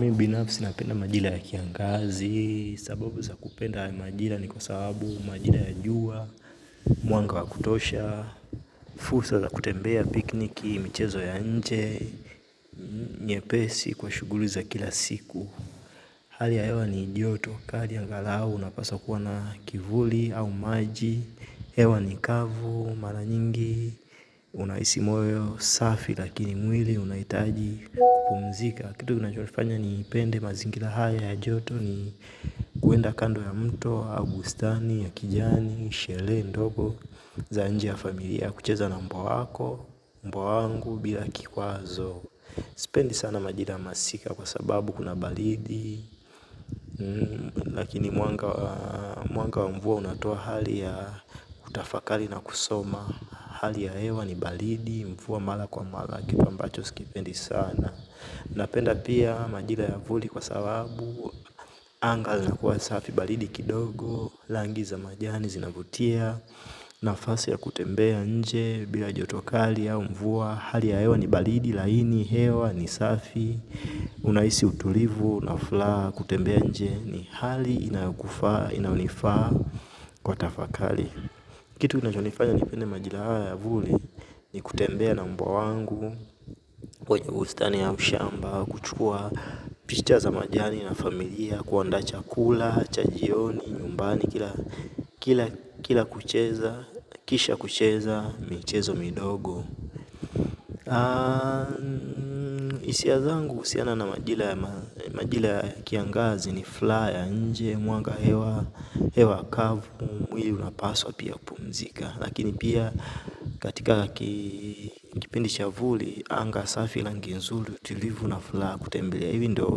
Mi binafsi napenda majira ya kiangazi, sababu za kupenda majira ni kwa sababu majira ya jua, mwanga wa kutosha, fursa za kutembea pikniki, michezo ya nje, nyepesi kwa shughuli za kila siku. Hali ya hewa ni joto, kali angalau, unapaswa kuwa na kivuli au maji, hewa ni kavu, mara nyingi, unahisi moyo safi lakini mwili unahitaji kupumzika. Kitu kinachonifanya nipende mazingira haya ya joto ni kuenda kando ya mto, au bustani, ya kijani, sherehe, ndogo, za nje ya familia, kucheza na mbwa wako, mbwa wangu, bila kikwazo. Sipendi sana majira masika kwa sababu kuna baridi. Lakini mwanga wa mvua unatoa hali ya utafakari na kusoma. Hali ya hewa ni baridi, mvua mara kwa mara kiti ambacho sikipendi sana. Napenda pia majira ya vuli kwa sababu anga zinakuwa safi baridi kidogo rangi za majani zinavutia. Nafasi ya kutembea nje bila joto kali au mvua. Hali ya hewa ni baridi, laini, hewa, ni safi. Unahisi utulivu, na furaha, kutembea nje. Ni hali inayokufaa, inayonifaa kwa tafakari. Kitu kinachonifanya nipende majira haya ya vuli. Ni kutembea na mbwa wangu. Kwenye bustani ya mshamba kuchukua, picha za majani na familia kuandaa chakula, cha jioni, nyumbani. Kila kucheza, kisha kucheza, michezo midogo hisia zangu uhusiana na majira ya kiangazi ni furaha ya nje, mwanga hewa, hewa kavu, mwili unapaswa pia kupumzika. Lakini pia katika kipindi cha vuli, anga safi rangi nzuri tulivu na furaha kutembelea hivi ndo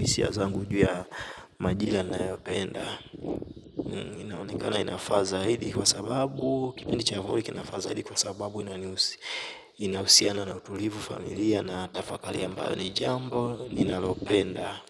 hisia zangu juu ya majira nayopenda. Inaonekana inafaa zaidi kwa sababu kipindi cha vuli kinafaa zaidi kwa sababu inahusiana na utulivu familia na tafakari ambayo ni jambo ninalopenda.